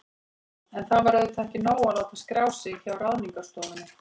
En það var auðvitað ekki nóg að láta skrá sig hjá Ráðningarstofunni.